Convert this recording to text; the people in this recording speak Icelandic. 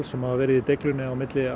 sem hafa verið í deiglunni milli